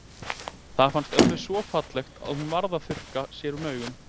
Það fannst ömmu svo fallegt að hún varð að þurrka sér um augun.